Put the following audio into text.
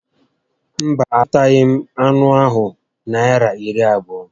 Mba, a zụtaghị m anụ ahụ Naịra iri abụọ